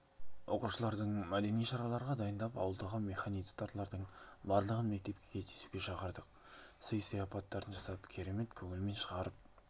оқушылардың мәдени шараларға дайындап ауылдағы механизаторлардың барлығын мектепке кездесуге шақырдық сый сыйапаттарын жасап керемет көңілмен шығарып